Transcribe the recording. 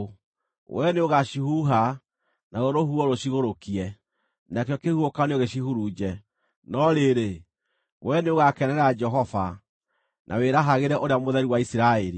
Wee nĩũgaacihuha, naruo rũhuho rũcigũrũkie, nakĩo kĩhuhũkanio gĩcihurunje. No rĩrĩ, wee nĩũgakenera Jehova, na wĩrahagĩre Ũrĩa Mũtheru wa Isiraeli.